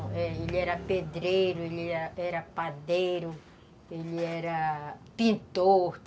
É. Ele era pedreiro, ele era padeiro, ele era pintor.